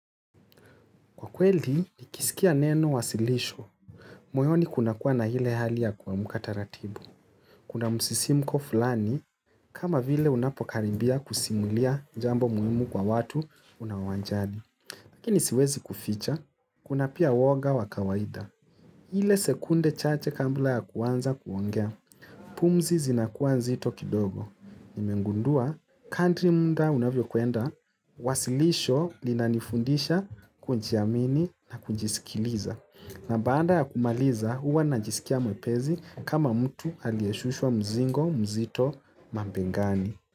Kwa kweli, nikiskia neno wasilisho. Moyoni kuna kuwa na ile hali ya kuamka taratibu. Kuna msisimko fulani kama vile unapokaribia kusimulia jambo muhimu kwa watu unawajali. Lakini siwezi kuficha. Kuna pia uwoga wa kawaida. Ile sekunde chache kambla ya kuanza kuongea. Pumzi zinakuwa nzito kidogo. Nimengundua, kadri munda unavyo kwenda. Wasilisho linanifundisha kujiamini na kujisikiliza na baanda ya kumaliza huwa najiskia mwepesi kama mtu aliyeshushwa mzingo mzito mabengani.